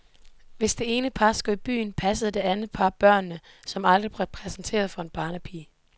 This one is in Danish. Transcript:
Hvis det ene par skulle i byen, passede det andet par børnene, som derfor aldrig blev præsenteret for en barnepige.